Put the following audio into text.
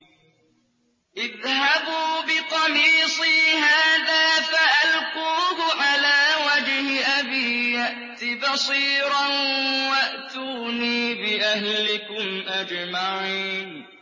اذْهَبُوا بِقَمِيصِي هَٰذَا فَأَلْقُوهُ عَلَىٰ وَجْهِ أَبِي يَأْتِ بَصِيرًا وَأْتُونِي بِأَهْلِكُمْ أَجْمَعِينَ